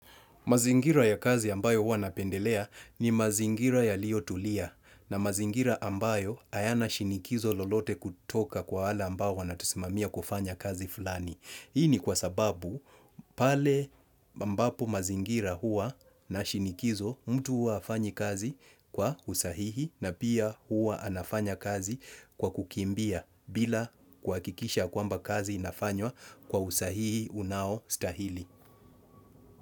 Mazingira ya kazi ambayo huwa napendelea, ni mazingira yaliyo tulia na mazingira ambayo hayana shinikizo lolote kutoka kwa wale ambao wanatusimamia kufanya kazi fulani. Hii ni kwa sababu pale ambapo mazingira huwa na shinikizo, mtu huwa hafanyi kazi kwa usahihi na pia huwa anafanya kazi kwa kukimbia bila kuhakikisha kwamba kazi inafanywa kwa usahihi unaostahili.